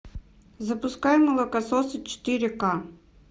запускай молокососы четыре ка